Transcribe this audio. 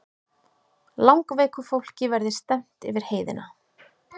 Langveiku fólki verði stefnt yfir heiðina